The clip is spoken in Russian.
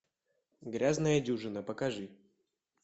грязная дюжина покажи